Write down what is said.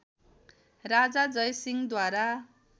राजा जयसिंह द्वारा